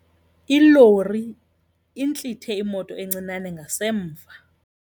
Ilori intlithe imoto encinane ngasemva.